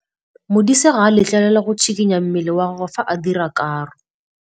Modise ga a letlelelwa go tshikinya mmele wa gagwe fa ba dira karô.